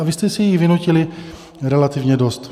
A vy jste si jich vynutili relativně dost.